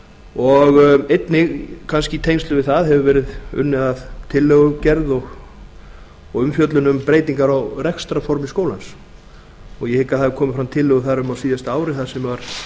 og einnig kannski í tengslum við það hefur verið unnið að tillögugerð og umfjöllun um breytingar á rekstrarformi skólans ég hygg að það hafi komið fram tillögur þar um á síðasta ári þar sem var